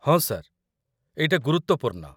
ହଁ, ସାର୍, ଏଇଟା ଗୁରୁତ୍ୱପୂର୍ଣ୍ଣ ।